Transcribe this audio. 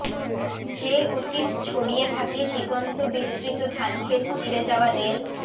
যে অতীত ছড়িয়ে থাকে দিগন্ত বিস্তৃত ধানখেত চিরে যাওয়া রেল